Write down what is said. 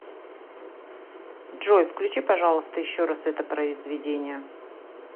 джой включи пожалуйста еще раз это произведение